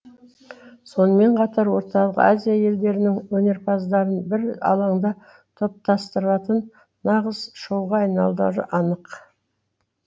сонымен қатар орталық азия елдерінің өнерпаздарын бір алаңда топтастыратын нағыз шоуға айналары анық